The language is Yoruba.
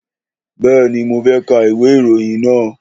Bẹ́ẹ̀ni, mo fẹ́ ka ìwé ìròyìn náà